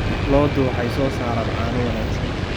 Lo'du waxay soo saaraan caano wanaagsan.